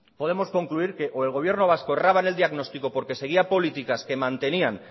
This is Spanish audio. podemos concluir o que el gobierno vasco erraba en el diagnóstico porque seguía políticas que mantenían